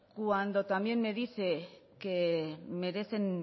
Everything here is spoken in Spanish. cuando también me dice que merecen